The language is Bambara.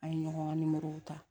An ye ɲɔgɔn nimorow ta